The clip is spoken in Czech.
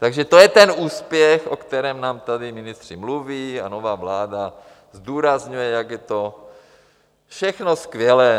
Takže to je ten úspěch, o kterém nám tady ministři mluví a nová vláda zdůrazňuje, jak je to všechno skvělé.